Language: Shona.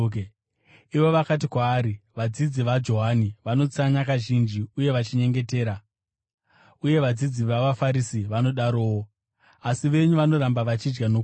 Ivo vakati kwaari, “Vadzidzi vaJohani vanotsanya kazhinji uye vachinyengetera, uye vadzidzi vavaFarisi vanodarowo, asi venyu vanoramba vachidya nokunwa.”